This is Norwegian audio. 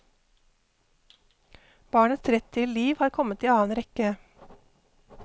Barnets rett til liv har kommet i annen rekke.